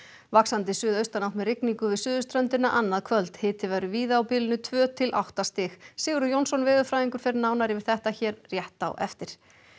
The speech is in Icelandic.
vaxandi suðaustanátt með rigningu við suðurströndina annað kvöld hiti verður víða á bilinu tvö til átta stig Sigurður Jónsson veðurfræðingur fer nánar yfir þetta hér rétt á eftir